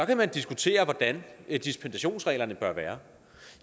diskutere hvordan dispensationsreglerne bør være